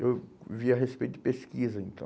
Então, eu via respeito de pesquisa, então.